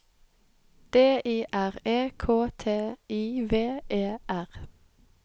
D I R E K T I V E R